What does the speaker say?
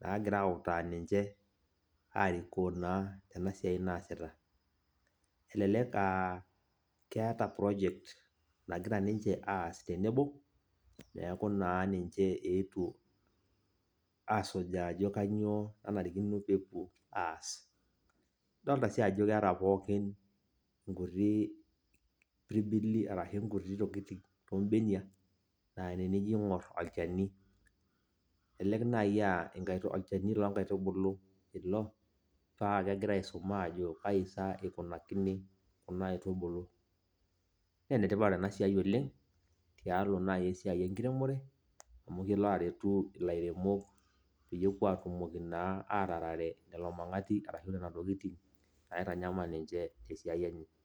nagira autaa ninche, arikoo naa tenasiai naasita. Elelek ah keeta project nagira ninche aas tenebo, neeku naa ninche eetuo asujaa ajo kanyioo nanarikino pepuo aas. Adolta si ajo keeta pookin inkuti pirbili arashu nkuti tokiting tobenia, na tenijo aing'or olchani. Elelek nai ah olchani lonkaitubulu ilo, pakegira aisum ajo kai sa ikunakini kuna aitubulu. Nenetipat enasiai oleng, tialo nai esiai enkiremore, amu kelo aretu ilairemok peyie epuo atumoki naa, atarare lelo mang'ati arashu nena tokiting, naitanyamal ninche tesiai enye.